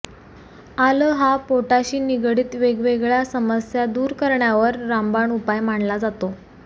आलं हा पोटाशी निगडीत वेगवेगळ्या समस्या दूर करण्यावर रामबाण उपाय मानला जातो